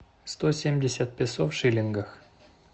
сто семьдесят песо в шиллингах